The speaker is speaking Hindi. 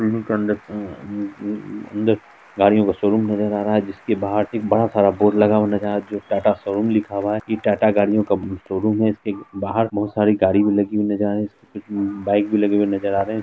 बिल्डिंग के अंदर अंदर गाड़ियों का शोरूम नजर आ रहा है जिसके बाहर एक बड़ा सारा बोर्ड लगा हो रहा जो टाटा शोरूम लिखा हुआ है इ टाटा गाड़ियों का शोरूम है इसके बाहर बहुत सारी गाड़ी भी लगी हुई नजर आ रही इसके कुछ बाइक भी लगे नजर आ रहे है।